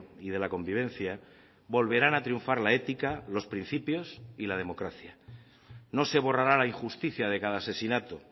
y de la convivencia volverán a triunfar la ética los principios y la democracia no se borrará la injusticia de cada asesinato